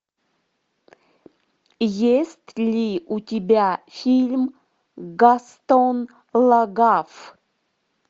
есть ли у тебя фильм гастон лагаф